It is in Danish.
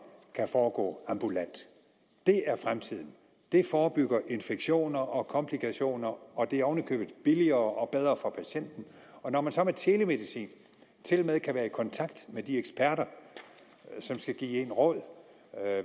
kan foregå ambulant det er fremtiden det forebygger infektioner og komplikationer og det er oven i købet billigere og bedre for patienten og når man så med telemedicin tilmed kan være i kontakt med de eksperter som skal give en råd